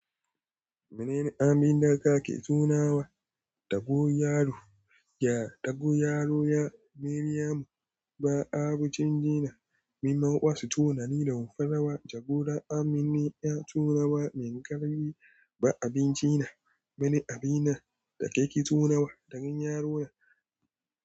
Mene aminin daka ke tunawa da gonyaro? Ya dogoyaro ya Mariamu ba abincin dina. Min mauƙa su tunani da wufawa jagora. Amin ne ya tunawa min gari ba abinci na. Mene abin na da kake tunawa da gonyaro na?